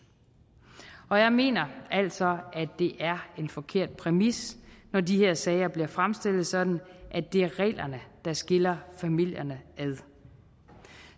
og jeg mener altså at det er en forkert præmis når de her sager bliver fremstillet sådan at det er reglerne der skiller familierne ad